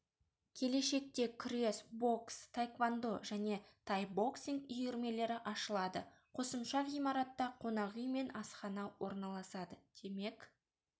келешекте күрес бокс таэквондо және тайбоксинг үйірмелері ашылады қосымша ғимаратта қонақүй мен асхана орналасады демек